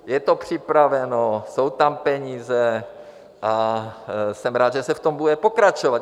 Je to připraveno, jsou tam peníze a jsem rád, že se v tom bude pokračovat.